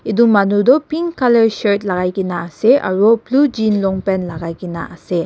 edu manu toh pink colour shirt lakaikaena ase aru blue jean long pant lakaikaena ase.